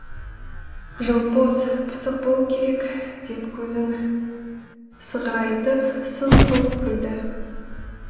жылпос пысық болу керек деп көзін сығырайтып сылқ сылқ күлді